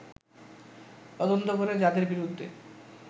তদন্ত করে যাদের বিরুদ্ধে